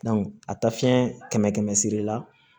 a ta fiɲɛ kɛmɛ kɛmɛ sira la